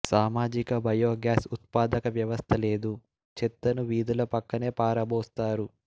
సామాజిక బయోగ్యాస్ ఉత్పాదక వ్యవస్థ లేదు చెత్తను వీధుల పక్కనే పారబోస్తారు